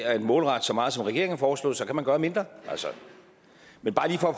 at målrette så meget som regeringen har foreslået så kan man gøre mindre men bare lige for at